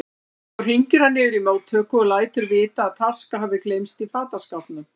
Svo hringir hann niður í móttöku og lætur vita að taska hafi gleymst í fataskápnum.